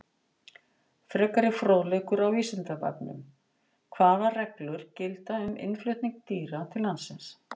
Frekari fróðleikur á Vísindavefnum: Hvaða reglur gilda um innflutning dýra til landsins?